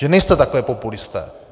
Že nejste takhle populisté.